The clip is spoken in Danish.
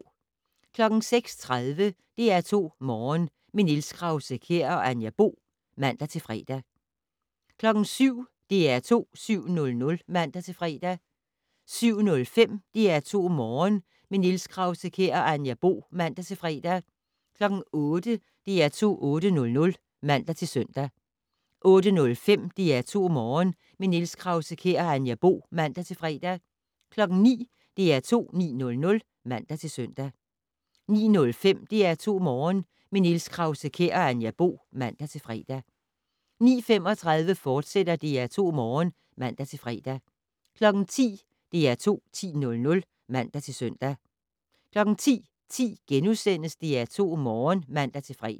06:30: DR2 Morgen - med Niels Krause-Kjær og Anja Bo (man-fre) 07:00: DR2 7:00 (man-fre) 07:05: DR2 Morgen - med Niels Krause-Kjær og Anja Bo (man-fre) 08:00: DR2 8:00 (man-søn) 08:05: DR2 Morgen - med Niels Krause-Kjær og Anja Bo (man-fre) 09:00: DR2 9:00 (man-søn) 09:05: DR2 Morgen - med Niels Krause-Kjær og Anja Bo (man-fre) 09:35: DR2 Morgen *(man-fre) 10:00: DR2 10:00 (man-søn) 10:10: DR2 Morgen *(man-fre)